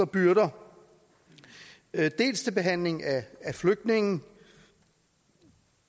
byrder dels til behandling af flygtninge